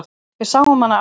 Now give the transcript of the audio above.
Við sáum hana áðan.